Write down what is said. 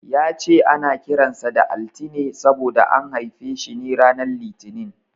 Ya ce ana kiran sa da Altine saboda an haife shi ranar Litinin.